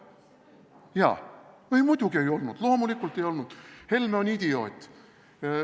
Jaa, muidugi ei olnud, loomulikult ei olnud, Helme on idioot.